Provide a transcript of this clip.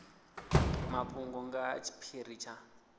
mafhungo nga ha tshiphiri tsha